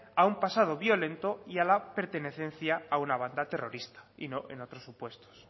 a un pasado violento y a la pertenencia a una banda terrorista y no en otros supuestos